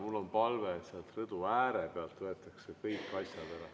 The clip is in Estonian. Mul on palve, et rõdu ääre pealt võetaks kõik asjad ära.